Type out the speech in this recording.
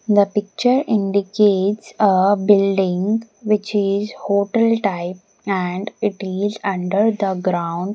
The picture indicates a building which is hotel type and it is under the ground.